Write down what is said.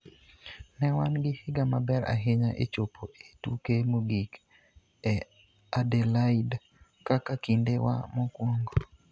Ne wan gi higa maber ahinya e chopo e tuke mogik e Adelaide kaka kinde wa mokwongo.